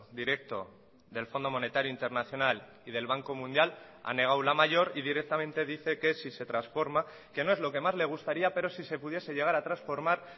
directo del fondo monetario internacional y del banco mundial ha negado la mayor y directamente dice que si se transforma que no es lo que más le gustaría pero si se pudiese llegar a transformar